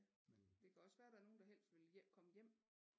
Det kan også være at der er nogen der helst vil komme hjem